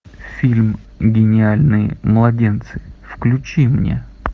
фильм гениальные младенцы включи мне